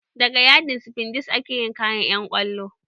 Daga yadin sifandes ake yin kayan ƴan kwallo